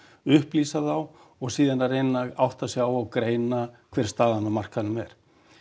upplýsa þá og síðan að reyna að átta sig á og greina hver staðan á markaðnum er